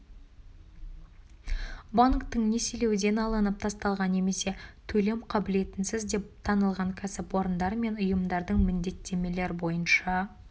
банктің несиелеуден алынып тасталған немесе төлем қаблетінсіз деп танылған кәсіпорындар мен ұйымдардың міндеттемелер бойынша